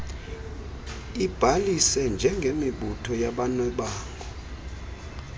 ibhalise njengemibutho yabanebango